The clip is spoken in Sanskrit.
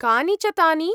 कानि च तानि ?